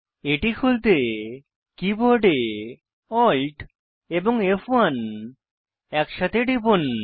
এটি খুলতে কীবোর্ডে Alt এবং ফ1 একসাথে টিপুন